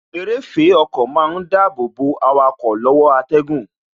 Eréfèé ọkọ má ń dàbọ̀ bo awakọ̀ lọ́wọ́ atẹ́gùn